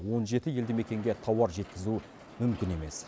он жеті елді мекенге тауар жеткізу мүмкін емес